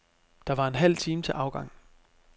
Der var en halv time til afgang.